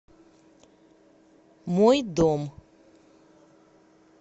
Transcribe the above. мой дом